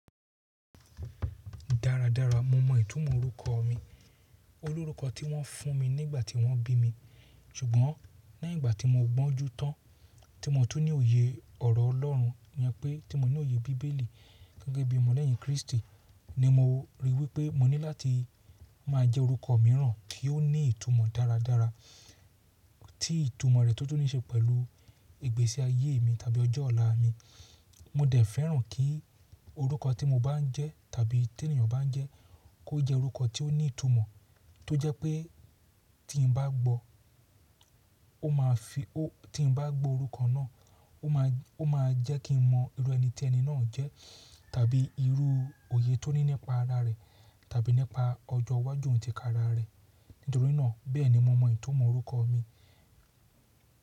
Dáradára mo mọ ìtumọ̀ orúkọ mi. O lórúkọ tí wọ́n fún mi nígbà tí wọ́n bí mi. Ṣùgbọ́n léyìn ìgbà tí mo gbọ́njú tán, tí mo tún ní òye ọ̀rọ̀ Ọlọ́run ìyẹn pé tí mo ní òye bíbélì gẹ́gẹ́ bí ọmọ lẹ́yìn Krístì, ni mo ríi wípé mo ní láti máa jẹ́ orúkọ mìíràn kí ó ní ìtumọ̀ dáradára tí ìtumọ̀ rẹ̀ tó tún nííṣe pẹ̀lú ìgbésí ayé mi tàbí ọjọ́ ọ̀la mi. Mo dẹ̀ fẹ́ràn kí orúkọ tí mo bá ń jẹ́ tàbí tí ènìyàn bá ń jẹ́ kó jẹ́ orúkọ tí ó ní ìtumọ̀ tó jẹ́ pé tí n bá gbọ́, ó máa fi ó tí n bá gbọ́ orúkọ náà ó máa ó máa jẹ́ kí n mọ irú ẹni tí ẹni náà jẹ́ tàbí irú òye tó ní nípa ara rẹ̀ tàbí nípa ọjọ́ iwájú òǹtìkára rẹ̀. Nítorí náà bẹ́ẹ̀ ni mo mọ ìtumọ̀ orúkọ mi.